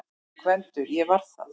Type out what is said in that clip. GVENDUR: Ég var það!